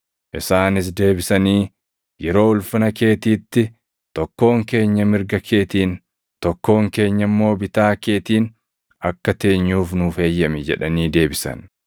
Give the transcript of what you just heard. Isaanis deebisanii, “Yeroo ulfina keetiitti, tokkoon keenya mirga keetiin, tokkoon keenya immoo bitaa keetiin akka teenyuuf nuuf eeyyami” jedhanii deebisan.